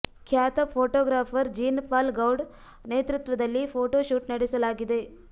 ಖ್ಯಾತ photographer Jean Paul Goude ನೇತೃತ್ವದಲ್ಲಿ photo shoot ನಡೆಸಲಾಗಿದೆ